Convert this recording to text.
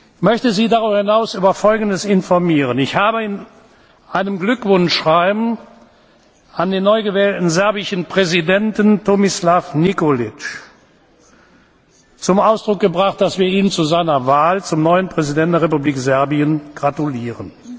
Ich möchte Sie darüber hinaus über Folgendes informieren Ich habe in einem Glückwunschschreiben an den neu gewählten serbischen Präsidenten Tomislav Nikolic zum Ausdruck gebracht, dass wir ihm zu seiner Wahl zum neuen Präsidenten der Republik Serbien gratulieren.